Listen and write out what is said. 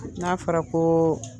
N'a fara ko